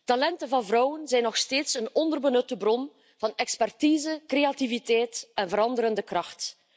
Talenten van vrouwen zijn nog steeds een onderbenutte bron van expertise, creativiteit en veranderende kracht.